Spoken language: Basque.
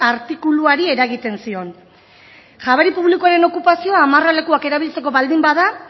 artikuluari eragiten zion jabari publikoaren okupazioa amarralekuak erabiltzeko baldin bada